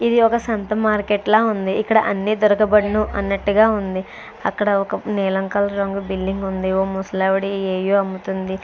ఇది ఒక సంత మార్కెట్ లా ఉంది. ఇక్కడ అన్ని దొరకబడును అన్నట్టుగా ఉంది. అక్కడ ఒక నీలం కలర్ రంగు బిల్లింగ్ ఉంది . ఓ ముసలి అవిడ ఎవో అమ్ముతుంది.